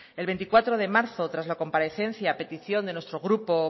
el veinticuatro de marzo tras la comparecencia a petición de nuestro grupo